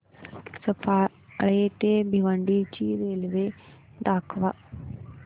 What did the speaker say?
सफाळे ते भिवंडी रोड ची रेल्वे दाखव